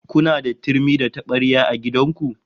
Kuna da turmi da tabarya a gidan ku?